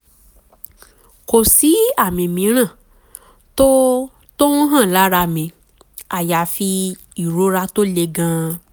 kò sí àmì mìíràn tó tó ń hàn lára mi àyàfi ìrora tó le gan-an